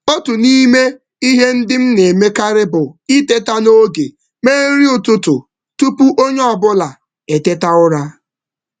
Otú n'ime ihe ndị m na emekarị bụ iteta n'oge mee nri ụtụtụ tupu onye ọbula eteta ụra